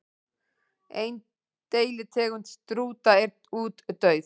Ein deilitegund strúta er útdauð.